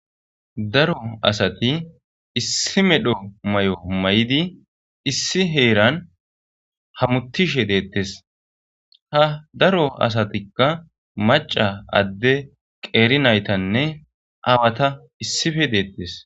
Daro asati issi medho may7o may7idi issi heeran hamutishe deettes ha daro asatikka maca adde qeeri naytanne awata issife deettes.